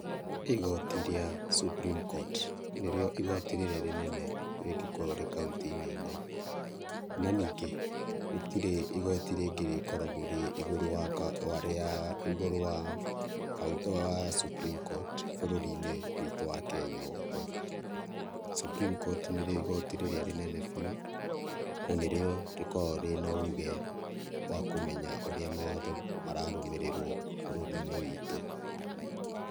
Igoti rĩa Supreme Court nĩrĩo igoti rĩrĩa rĩnene rĩngĩkorwo rĩ kauntĩinĩ ĩno, na ningĩ gũtirĩ igoti rĩngĩ rĩkoragwo rĩ igũrũ wa igoti rĩa Supreme Court bũrũrinĩ witũ wa Kenya wothe. Supreme Court nĩrĩo igoti rĩrĩa rĩnene biũ na nĩrĩo rĩkoragwo rĩna ũge wa kũmenya ũrĩa mawatho mararũmĩrĩrwo bũrũrinĩ witũ.